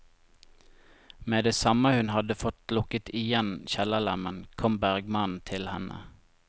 Med det samme hun vel hadde fått lukket igjen kjellerlemmen, kom bergmannen til henne.